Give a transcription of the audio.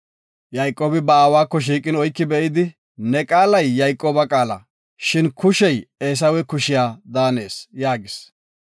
Yayqoobi ba aawako shiiqin oyki be7idi, “Ne qaalay Yayqooba qaala shin kushey Eesawe kushiya daanees” yaagis.